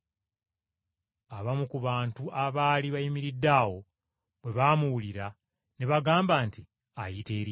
Abamu ku bantu abaali bayimiridde awo bwe baamuwulira ne bagamba nti, “Ayita Eriya.”